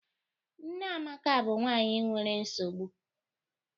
Nne Amaka bụ nwanyị nwere nsogbu